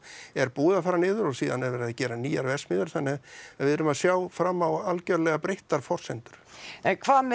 er búið að fara niður og síðan er verið að gera nýjar verksmiðjur þannig að við erum að sjá fram á algerlega breyttar forsendur en hvað með